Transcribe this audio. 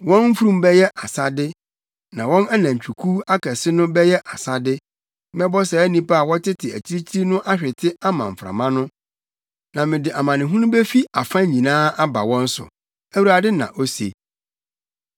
Wɔn mfurum bɛyɛ asade, na wɔn anantwikuw akɛse no bɛyɛ asade. Mɛbɔ saa nnipa a wɔtete akyirikyiri no ahwete ama mframa no, na mede amanehunu befi afa nyinaa aba wɔn so,” Awurade na ose.